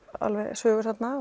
sögur þarna